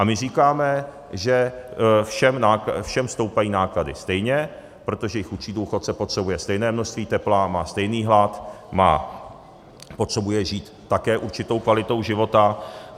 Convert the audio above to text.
A my říkáme, že všem stoupají náklady stejně, protože i chudší důchodce potřebuje stejné množství tepla, má stejný hlad, má potřebu žít také určitou kvalitou života.